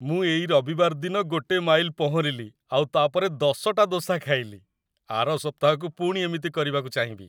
ମୁଁ ଏଇ ରବିବାର ଦିନ ଗୋଟେ ମାଇଲ ପହଁରିଲି ଆଉ ତା'ପରେ ୧୦ଟା ଦୋସା ଖାଇଲି । ଆର ସପ୍ତାହକୁ ପୁଣି ଏମିତି କରିବାକୁ ଚାହିଁବି ।